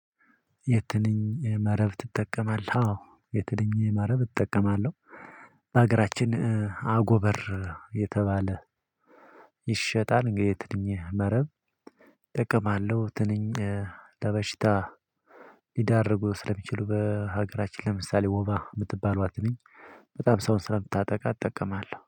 የትንኝ መረብ ትጠቀማለህ? አዎ የትንኝ መረብ እጠቀማለሁ። በሀገራችን አጎበር የተባለ ይሸጣል። የትንኝ መረብ እጠቀማለሁ ትንኝ። ለበሽታ ሊዳርጉ ስለሚችሉ በሀገራችን ለምሳሌ ወባ የምትባሏት ትንኝ በጣም ሰው ስለምታጠቃ እጠቀማለሁ